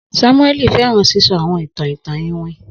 Samueli fẹran sisọ awọn itan itan iwin.